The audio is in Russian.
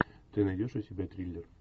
ты найдешь у себя триллер